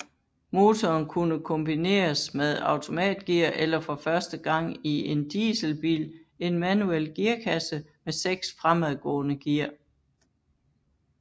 Motoren kunne kombineres med automatgear eller for første gang i en dieselbil en manuel gearkasse med seks fremadgående gear